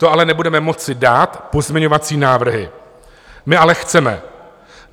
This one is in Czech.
To ale nebudeme moci dát pozměňovací návrhy, my ale chceme.